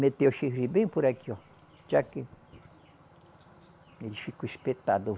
Meteu o chifre bem por aqui, ó. Chac. Ele ficou espetado.